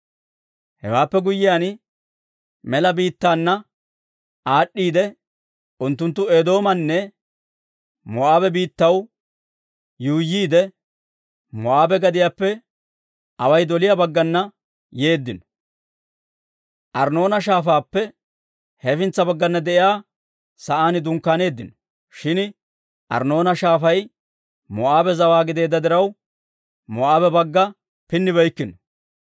«Hewaappe guyyiyaan mela biittaana aad'd'iidde, unttunttu Eedoomanne Moo'aabe biittatuwaa yuuyyiide, Moo'aabe gadiyaappe away doliyaa baggana yeeddino; Arnnoona Shaafaappe hefintsa baggana de'iyaa sa'aan dunkkaaneeddino; shin Arnnoona Shaafay Moo'aabe zawaa gideedda diraw, Moo'aabe bagga pinnibeykkino.